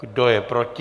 Kdo je proti?